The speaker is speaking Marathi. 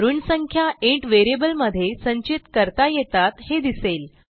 ऋण संख्या इंट व्हेरिएबलमध्ये संचित करता येतात हे दिसले